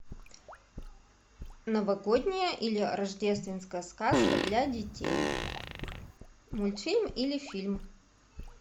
новогодняя или рождественская сказка для детей мультфильм или фильм